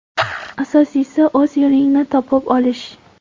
Asosiysi, o‘z yo‘lingni topib olish.